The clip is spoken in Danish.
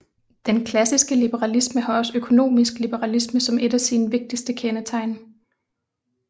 Den klassiske liberalisme har også økonomisk liberalisme som et af sine vigtigste kendetegn